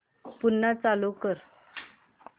पुन्हा चालू कर